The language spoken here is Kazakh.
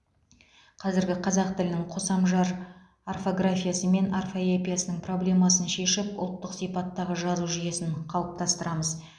қазіргі қазақ тілінің қосамжар орфографиясы мен орфоэпиясының проблемасын шешіп ұлттық сипаттағы жазу жүйесін қалыптастырамыз